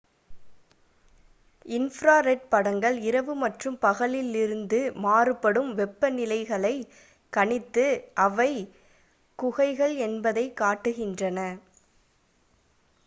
infra red படங்கள் இரவு மற்றும் பகலில் இருந்து மாறுபடும் வெப்பநிலைகளைக் கணித்து அவை குகைகள் என்பதைக் காட்டுகின்றன